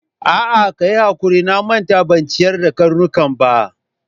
A'a, kayi hakuri, na manta ban ciyar da karnukan ba.